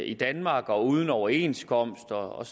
i danmark og uden overenskomst og